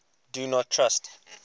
do not trust